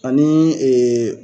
Ani